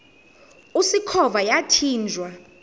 usikhova yathinjw a